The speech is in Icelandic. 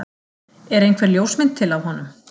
Er einhver ljósmynd til af honum?